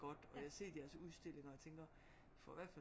Godt og jeg har set jeres udstillinger og tænker får i hvert fald